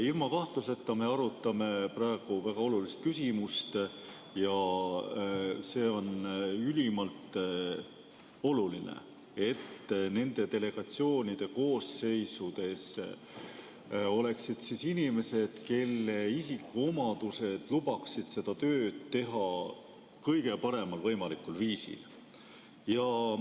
Ilma kahtluseta me arutame praegu väga olulist küsimust ja see on ülimalt oluline, et nende delegatsioonide koosseisudes oleksid inimesed, kelle isikuomadused lubaksid seda tööd teha kõige paremal võimalikul viisil.